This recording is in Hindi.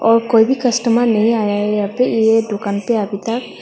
और कोई भी कस्टमर नहीं आया यहां पे ये दुकान पे अभी तक।